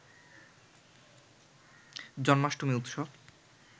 জন্মাষ্টমী উৎসব